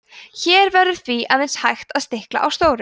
hér verður því aðeins hægt að stikla á stóru